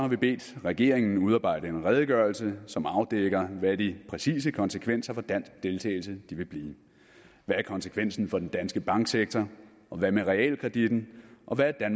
vi bedt regeringen udarbejde en redegørelse som afdækker hvad de præcise konsekvenser for dansk deltagelse vil blive hvad er konsekvensen for den danske banksektor hvad med realkreditten og hvordan er